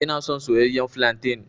Ina son soyayyen flantain.